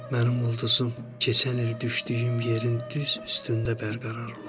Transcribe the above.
Mənim ulduzum keçən il düşdüyüm yerin düz üstündə bərqərar olacaq.